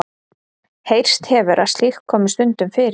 Heyrst hefur að slíkt komi stundum fyrir.